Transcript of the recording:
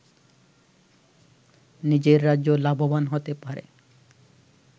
নিজের রাজ্য লাভবান হতে পারে